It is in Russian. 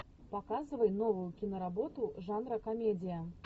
показывай новую киноработу жанра комедия